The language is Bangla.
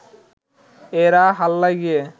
এরা হাল্লায় গিয়ে